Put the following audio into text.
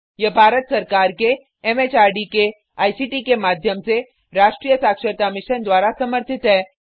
यह भारत सरकार के एमएचआरडी के आईसीटी के माध्यम से राष्ट्रीय साक्षरता मिशन द्वारा समर्थित है